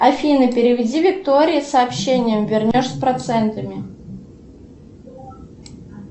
афина переведи виктории сообщение вернешь с процентами